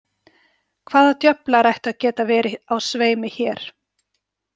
Hvaða djöflar ættu að geta verið á sveimi hér?